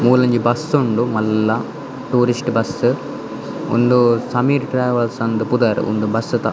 ಮೂಲೊಂಜಿ bus ಉಂಡು ಮಲ್ಲ tourist bus ಉಂದು ಸಮೀರ್ ಟ್ರೇವೆಲ್ಸ್ ಅಂದ್ ಪುದರ್ ಉಂದು ಬಸ್ಸ್ ತ.